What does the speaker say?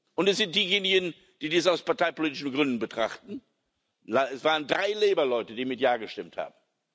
Und da sind diejenigen, die dies aus parteipolitischen Gründen betrachten. Es waren drei Labour Leute, die mit Ja gestimmt haben.